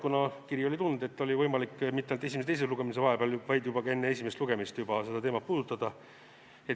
Kuna kiri oli tulnud, siis oli võimalik mitte ainult esimese ja teise lugemise vahel, vaid ka juba enne esimest lugemist seda teemat puudutada.